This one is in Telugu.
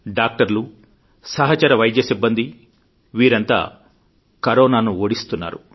డాక్టర్లు సహచర వైద్య సిబ్బంది వీరంతా కరోనాను ఓడిస్తున్నారు